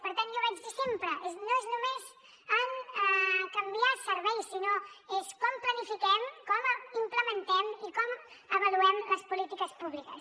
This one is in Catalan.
per tant jo ho dic sempre no és només canviar serveis sinó és com planifiquem com implementem i com avaluem les polítiques públiques